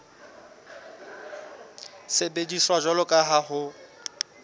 sebediswa jwalo ka ha ho